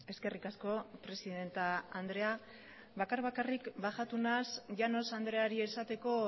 eskerrik asko presidente andrea bakar bakarrik bajatu naiz llanos andreari esateko